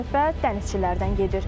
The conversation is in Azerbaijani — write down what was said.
Söhbət dənizçilərdən gedir.